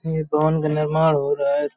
ये भवन का निर्माण हो रहा है।